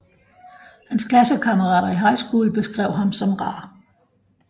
Hans klassekammerater i High School beskrev ham som rar